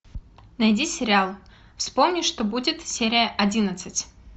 найди сериал вспомни что будет серия одиннадцать